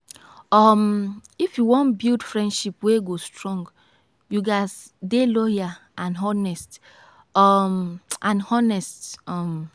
um if you wan build friendship wey go strong you ghas dey loyal and honest. um and honest. um